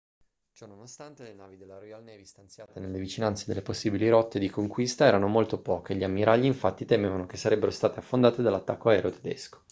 ciononostante le navi della royal navy stanziate nelle vicinanze delle possibili rotte di conquista erano molto poche gli ammiragli infatti temevano che sarebbero state affondate dall'attacco aereo tedesco